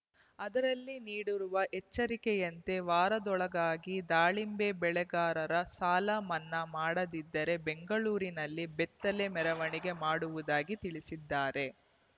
ಅದರಲ್ಲಿ ನೀಡುರುವ ಎಚ್ಚರಿಕೆಯಂತೆ ವಾರದೊಳಗಾಗಿ ದಾಳಿಂಬೆ ಬೆಳೆಗಾರರ ಸಾಲ ಮನ್ನಾ ಮಾಡದಿದ್ದರೆ ಬೆಂಗಳೂರಿನಲ್ಲಿ ಬೆತ್ತಲೆ ಮೆರವಣಿಗೆ ಮಾಡುವುದಾಗಿ ತಿಳಿಸಿದ್ದಾರೆ